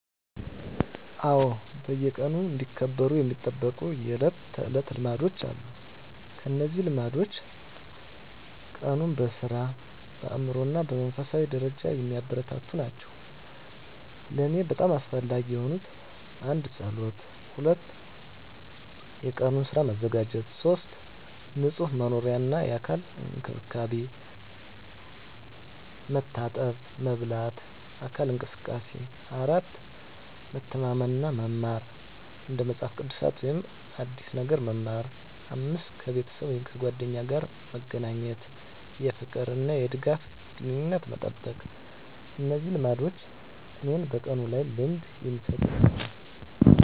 አዎ፣ በየቀኑ እንዲከበሩ የሚጠበቁ የዕለት ተዕለት ልማዶች አሉ። እነዚህ ልማዶች ቀኑን በሥራ፣ በአእምሮ እና በመንፈሳዊ ደረጃ የሚያበረታቱ ናቸው። ለእኔ በጣም አስፈላጊ የሆኑት: 1. ጸሎት 2. የቀኑን ሥራ መዘጋጀት 3. ንጹህ መኖሪያ እና የአካል እንክብካቤ፣ መታጠብ፣ መበላት፣ አካል እንቅስቃሴ። 4. መተማመን እና መማር፣ አንድ መጽሐፍ መቅዳት ወይም አዲስ ነገር መማር። 5. ከቤተሰብ ወይም ጓደኞች ጋር መገናኘት፣ የፍቅር እና የድጋፍ ግንኙነትን መጠበቅ። እነዚህ ልማዶች እኔን በቀኑ ላይ ልምድ የሚሰጡ ናቸው።